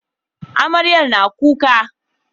Amarya na kuka